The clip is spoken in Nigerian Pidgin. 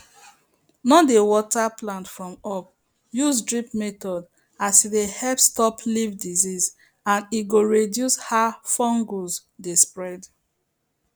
no dey water plant from up use drip method as e dey help stop leaf disease and e go reduce how fungus dey spread